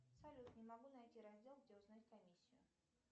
салют не могу найти раздел где узнать комиссию